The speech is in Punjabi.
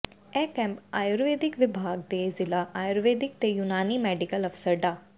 ਇਹ ਕੈਂਪ ਆਯੁਰਵੈਦਿਕ ਵਿਭਾਗ ਦੇ ਜ਼ਿਲ੍ਹਾ ਆਯੁਰਵੈਦਿਕ ਤੇ ਯੂਨਾਨੀ ਮੈਡੀਕਲ ਅਫਸਰ ਡਾ